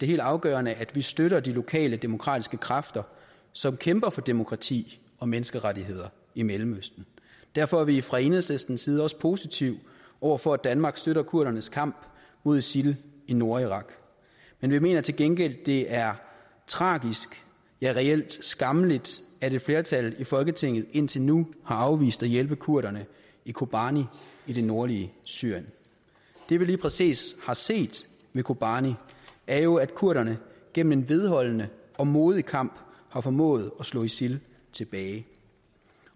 helt afgørende at vi støtter de lokale demokratiske kræfter som kæmper for demokrati og menneskerettigheder i mellemøsten derfor er vi fra enhedslistens side også positive over for at danmark støtter kurdernes kamp mod isil i nordirak men vi mener til gengæld det er tragisk ja reelt skammeligt at et flertal i folketinget indtil nu har afvist at hjælpe kurderne i kobane i det nordlige syrien det vi lige præcis har set ved kobane er jo at kurderne gennem en vedholdende og modig kamp har formået at slå isil tilbage